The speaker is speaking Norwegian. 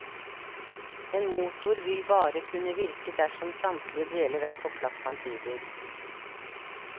En motor vil bare kunne virke dersom samtlige deler er på plass samtidig.